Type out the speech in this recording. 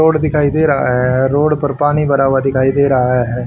Road दिखाई दे रहा है रोड पर पानी भरा हुआ दिखाई दे रहा है।